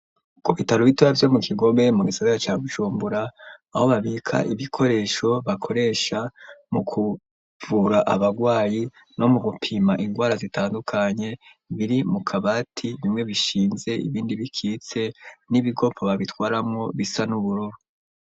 ku bitaro bitaro bitoya vyo mu kigobe mu gisabera ca bujumbura aho babika ibikoresho bakoresha mu kuvura abagwayi no mu gupima ingwara zitandukanye biri mu kabati bimwe bishinze ibindi bikitse n'ibikopo babitwaramo bisa n'ubururu.